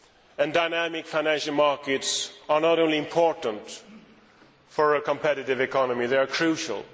and dynamic financial markets are not only important for a competitive economy, they are crucial.